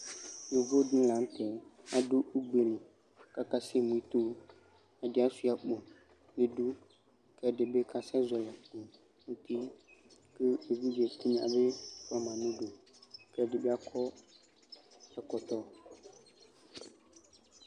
Yovo dɩnɩ la nʋ tɛ adʋ ugbe li kʋ akasɛmu ito Ɛdɩ asʋɩa akpo nʋ idu kʋ ɛdɩ bɩ kasɛzɔɣɔlɩ akpo nʋ uti kʋ evidze tɩnya bɩ fʋa ma nʋ udu kʋ ɛdɩ bɩ akɔ ɛkɔtɔ